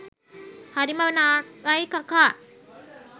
හරිම නාකයි කකා